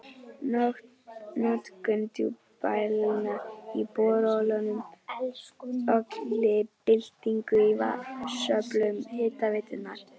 Notkun djúpdælna í borholum olli byltingu í vatnsöflun Hitaveitunnar.